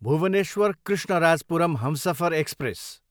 Bhubaneswar, Krishnarajapuram Humsafar express